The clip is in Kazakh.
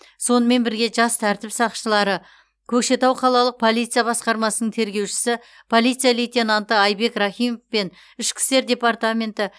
сонымен бірге жас тәртіп сақшылары көкшетау қалалық полиция басқармасының тергеушісі полиция лейтенанты айбек рахимов пен ішкі істер департаменті